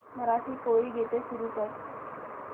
मराठी कोळी गीते सुरू कर